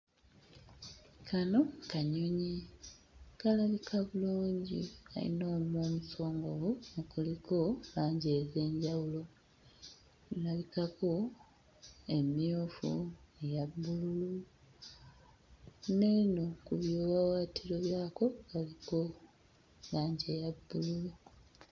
Kano kanyonyi kalabika bulungi kayina omumwa omusongovu okuliko langi ez'enjawulo kulabikako emmyufu eya bbululu n'eno ku biwawaatiro byako kaliko langi eya bbululu.